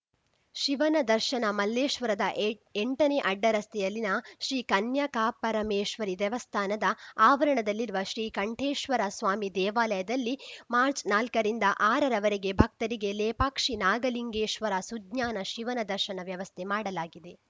ಶಿವನ ದರ್ಶನ ಮಲ್ಲೇಶ್ವರದ ಏಯ್ ಎಂಟನೇ ಅಡ್ಡರಸ್ತೆಯಲ್ಲಿನ ಶ್ರೀ ಕನ್ಯಕಾಪರಮೇಶ್ವರಿ ದೇವಸ್ಥಾನದ ಆವರಣದಲ್ಲಿರುವ ಶ್ರೀಕಂಠೇಶ್ವರ ಸ್ವಾಮಿ ದೇವಾಲಯದಲ್ಲಿ ಮಾರ್ಚ್ ನಾಲ್ಕರಿಂದ ಆರರವರೆಗೆ ಭಕ್ತರಿಗೆ ಲೇಪಾಕ್ಷಿ ನಾಗಲಿಂಗೇಶ್ವರ ಸುಜ್ಞಾನ ಶಿವನ ದರ್ಶನವ್ಯವಸ್ಥೆ ಮಾಡಲಾಗಿದೆ